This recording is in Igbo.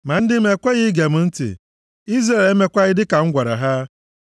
“Ma ndị m ekweghị ige m ntị. Izrel emekwaghị dịka m gwara ha.